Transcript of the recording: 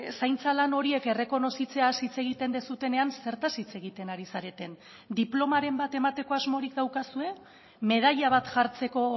zaintza lan horiek errekonozitzeaz hitz egiten duzuenean zertaz hitz egiten ari zareten diplomaren bat emateko asmorik daukazue medaila bat jartzeko